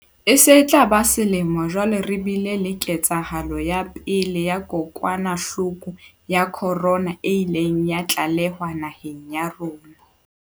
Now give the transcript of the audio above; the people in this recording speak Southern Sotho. E se e tla ba selemo jwale re bile le ketsahalo ya pele ya kokwanahloko ya khorona e ileng ya tlalehwa naheng ya rona.